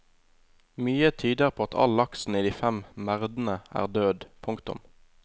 Mye tyder på at all laksen i de fem merdene er død. punktum